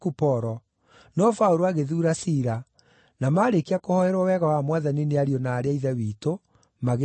no Paũlũ agĩthuura Sila, na maarĩkia kũhooerwo wega wa Mwathani nĩ ariũ na aarĩ a Ithe witũ, magĩthiĩ.